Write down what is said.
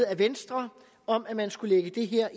af venstre om at man skulle lægge det her